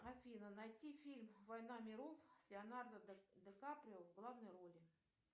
афина найти фильм война миров с леонардо ди каприо в главной роли